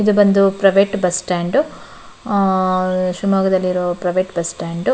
ಇದು ಬಂದು private bus stand ಶಿವಮೊಗ್ಗದಲ್ಲಿರೋ ಪ್ರೈವೇಟ್ ಬಸ್ಟ್ಯಾಂಡ್ --